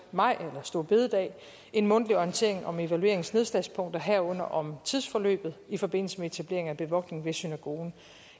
maj store bededag en mundtlig orientering om evalueringens nedslagspunkter herunder om tidsforløbet i forbindelse med etablering af bevogtning ved synagogen